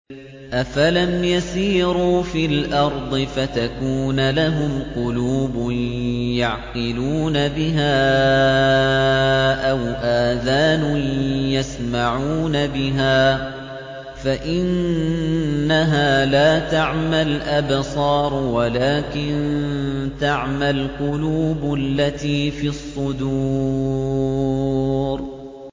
أَفَلَمْ يَسِيرُوا فِي الْأَرْضِ فَتَكُونَ لَهُمْ قُلُوبٌ يَعْقِلُونَ بِهَا أَوْ آذَانٌ يَسْمَعُونَ بِهَا ۖ فَإِنَّهَا لَا تَعْمَى الْأَبْصَارُ وَلَٰكِن تَعْمَى الْقُلُوبُ الَّتِي فِي الصُّدُورِ